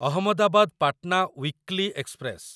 Ahmedabad Patna weekly express